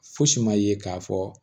Fosi ma ye k'a fɔ